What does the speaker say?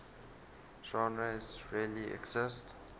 genres really exist